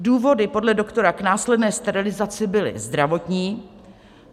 Důvody podle doktora k následné sterilizaci byly zdravotní.